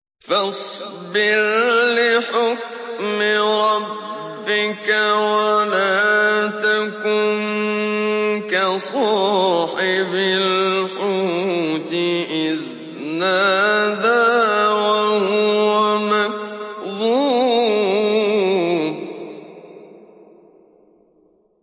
فَاصْبِرْ لِحُكْمِ رَبِّكَ وَلَا تَكُن كَصَاحِبِ الْحُوتِ إِذْ نَادَىٰ وَهُوَ مَكْظُومٌ